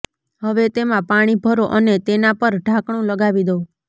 હવે તેમાં પાણી ભરો અને તેના પર ઢાંકણું લગાવી દો